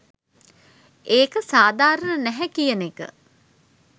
ඒක සාධාරණ නැහැ කියන එක